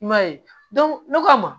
I m'a ye ne ka ma